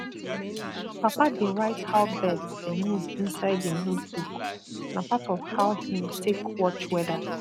papa dey write how birds dey move inside him notebook na part of how him take watch weather